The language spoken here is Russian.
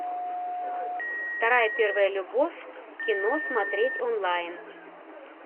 вторая первая любовь кино смотреть онлайн